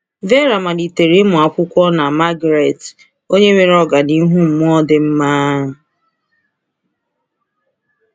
Veera malitere ịmụ akwụkwọ na Margaret, onye nwere ọganihu mmụọ dị mma.